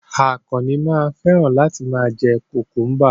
Àkànnì máa ń fẹ́ràn láti ma jẹ́ kùkúḿbà